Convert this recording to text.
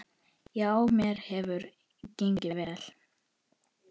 Já, mér hefur gengið vel.